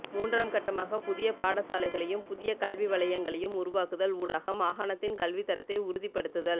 மூன்றாம் கட்டமாக புதிய பாடசாலைகளையும் புதிய கல்வி வலையங்களையும் உருவாக்குதல் ஊடாக மாகாணத்தின் கல்வித்தரத்தை உறுதிப்படுத்தல்